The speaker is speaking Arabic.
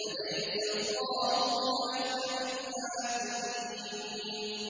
أَلَيْسَ اللَّهُ بِأَحْكَمِ الْحَاكِمِينَ